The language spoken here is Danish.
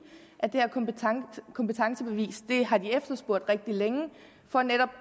at det her kompetencebevis er noget de har efterspurgt rigtig længe for netop